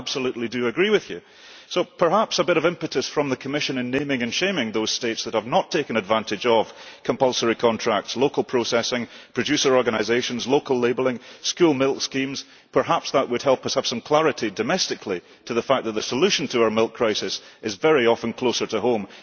I absolutely do agree with you, so perhaps a bit of impetus from the Commission in naming and shaming those States that have not taken advantage of compulsory contracts, local processing, producer organisations, local labelling, school milk schemes, would help us have some clarity domestically on the fact that the solution to our milk crisis is very often closer to home.